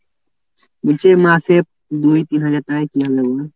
বলছি মাসে দুই তিনহাজার টাকায় কী হবে বল?